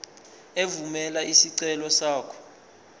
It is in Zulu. evumela isicelo sakho